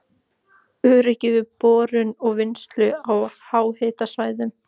Öryggi við borun og vinnslu á háhitasvæðum